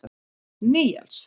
Níels